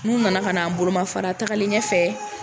N'u nana ka n'an bolomafara tagalien ɲɛfɛ